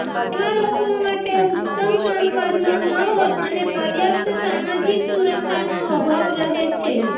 એવા લોકો માટે ઉત્તમ કામકાજનો માહોલ અને પર્યાપ્ત સામાજિક સુરક્ષાનો અભાવ રહે છે